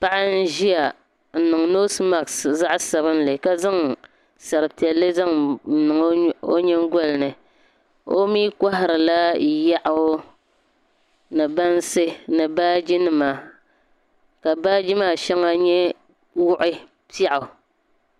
Paɣa n-ʒiya n-niŋ noosi maksi zaɣ'sabinli ka zaŋ sari piɛlli n-niŋ o nyingɔli ni o mi kɔhirila yaɣu ni bansi ni baajinima ka baaji maa shɛŋa wuɣi piɛɣu.